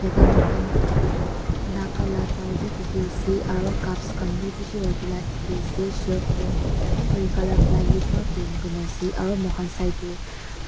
itu moikhan naga la dao bi dikhi ase aro cups khan bi bishi rakhi la dikhi ase shelves tu grey colour plywood pa paint kurina ase aru muikhan side teh.